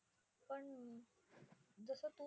पण जसं तू